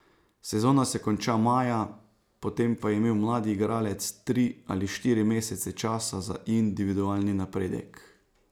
Sezona se konča maja, potem pa je imel mlad igralec tri ali štiri mesece časa za individualni napredek.